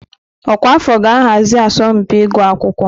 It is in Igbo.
Ọkwa afọ ga-ahazi asọmpi ịgụ akwụkwọ.